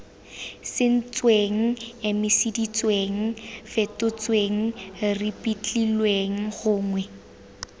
sentsweng emiseditsweng fetotsweng ripitlilweng gongwe